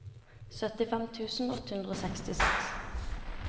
syttifem tusen åtte hundre og sekstiseks